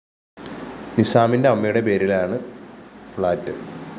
നിസ്സാമിന്റെ അമ്മയുടെ പേരിലാണ് ഫഌറ്റ്